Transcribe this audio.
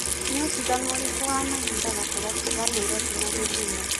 ni utiganu ũrĩkũ wa mahĩnda gatagati ka naĩrobĩ na gĩthumo